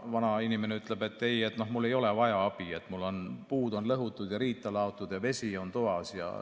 " Vanainimene ütleb, et ei, tal ei ole abi vaja, tal on puud lõhutud ja riita laotud ja vesi on toas.